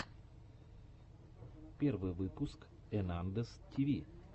первый выпуск энандэс тиви